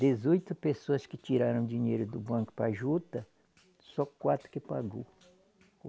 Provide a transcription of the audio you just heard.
Dezoito pessoas que tiraram dinheiro do banco para a juta, só quatro que pagou.